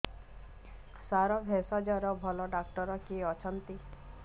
ସାର ଭେଷଜର ଭଲ ଡକ୍ଟର କିଏ ଅଛନ୍ତି